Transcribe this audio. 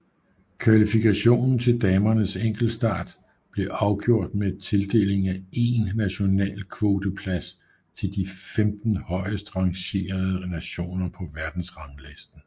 Kvalifikationen til damernes enkeltstart blev afgjort med tildelingen af 1 national kvoteplads til de 15 højeste rangerede nationer på verdensranglisten